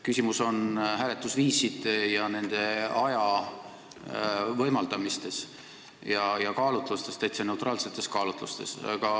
Küsimus on hääletusviisides, aja võimaldamises nende kasutamiseks ja kaalutlustes, täiesti neutraalsetes kaalutlustes.